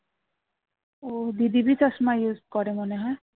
use করে মনে হয়